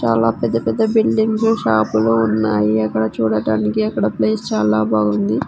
చాలా పెద్ద పెద్ద బిల్డింగ్సు షాపులు ఉన్నాయి అక్కడ చూడటానికి అక్కడ ప్లేస్ చాలా బావుంది.